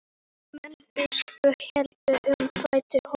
Menn biskups héldu um fætur honum.